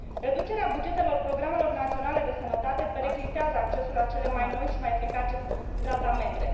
Reducerea bugetelor programelor naționale de sănătate periclitează accesul la cele mai noi și mai eficace tratamente.